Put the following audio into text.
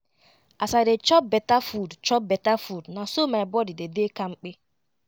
as i dey chop beta food chop beta food na so my body dey dey kampe